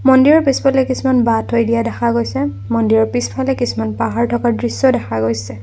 মন্দিৰৰ পিছফালে কিছুমান বাঁহ থৈ দিয়া দেখা গৈছে মন্দিৰৰ পিছফালে কিছুমান পাহাৰ থকা দৃশ্যও দেখা গৈছে।